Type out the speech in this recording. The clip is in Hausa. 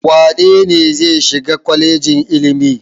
Wane ne zai shiga kwalejin ilimi?